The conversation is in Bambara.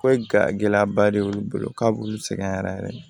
Ko ga gɛlɛyaba de y'olu bolo k'a b'olu sɛgɛn yɛrɛ yɛrɛ